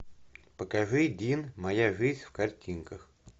покажи дин моя жизнь в картинках